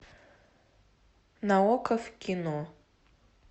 на окко в кино